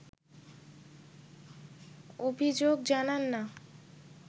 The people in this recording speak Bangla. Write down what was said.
অভিযোগ জানান না